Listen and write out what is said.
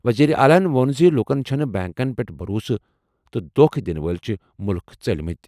وزیر اعلیٰ ووٚن زِ لوٗکَن چھُنہٕ بینکَن پٮ۪ٹھ بھروسہٕ تہٕ دوکھہٕ دِنہٕ وٲلۍ چھِ مُلُک ژٔلۍمٕتۍ۔